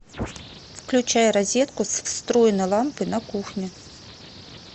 включай розетку с встроенной лампой на кухне